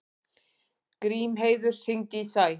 Grímheiður, hringdu í Sæ.